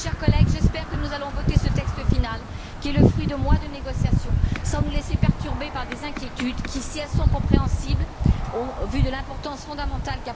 Chers collègues, j'espère que nous allons voter ce texte final, qui est le fruit de mois de négociations, sans nous laisser perturber par des inquiétudes qui, si elles sont compréhensibles, au vu de l'importance fondamentale...